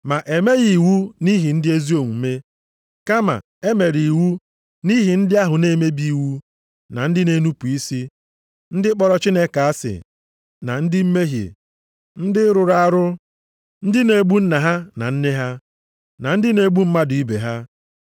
Ma emeghị iwu nʼihi ndị ezi omume. Kama, e mere iwu nʼihi ndị ahụ na-emebi iwu na ndị na-enupu isi, ndị kpọrọ Chineke asị na ndị mmehie, ndị rụrụ arụ, ndị na-egbu nna ha na nne ha, na ndị na-egbu mmadụ ibe ha,